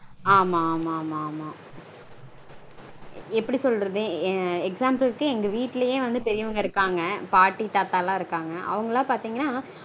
ஆமா ஆமா ஆமா ஆமா. எப்படி சொல்றது? Example -க்கு எங்க வீட்லயே வந்து பெரியவங்க இருக்காங்க. பாட்டி தாத்தாலாம் இருக்காங்க. அவங்கலாம் பாத்தீங்கனா